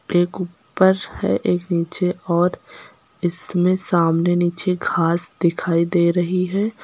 एक ऊपर है एक नीचे और इसमें सामने नीचे घास दिखाई दे रही है।